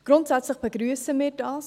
Grundsätzlich begrüssen wir dies.